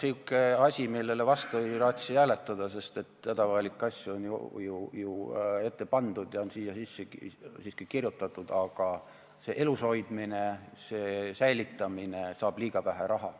On tulnud säärane asi, millele vastu ei raatsi hääletada, sest hädavajalikke asju on ju ette pandud ja on siia sisse siiski kirjutatud, aga see elus hoidmine, see säilitamine saab liiga vähe raha.